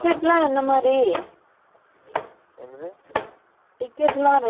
ticket லாம் rate எப்படி.